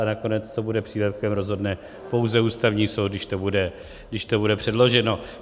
A nakonec, co bude přílepkem, rozhodne pouze Ústavní soud, když to bude předloženo.